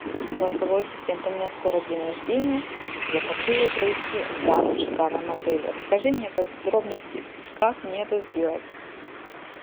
голосовой ассистент у меня скоро день рождения я хочу его провести в данном шикарном отеле расскажи мне подробности как мне это сделать